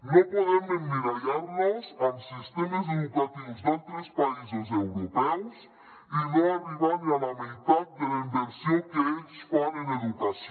no podem emmirallar nos en sistemes educatius d’altres països europeus i no arribar ni a la meitat de la inversió que ells fan en educació